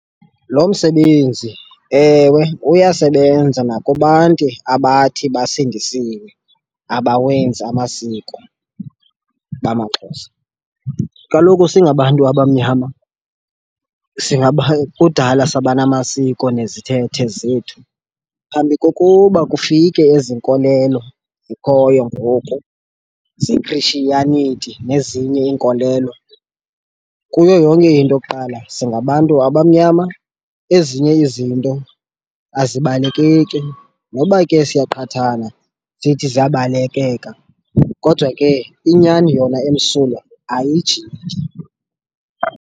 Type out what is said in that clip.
Lo msebenzi, ewe, uyasebenza nakubantu abathi basindisiwe abawenzi amasiko bamaXhosa. Kaloku singabantu abamnyama kudala saba namasiko nezithethe zethu phambi kokuba kufike ezi nkolelo zikhoyo ngoku ze-Christianity nezinye iinkolelo. Kuyo yonke into kuqala singabantu abamnyama ezinye izinto azibalekeki noba ke siyaqhathana zithi ziyabalekeka kodwa ke inyani yona emsulwa ayijiki.